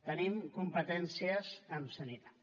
tenim competències en sanitat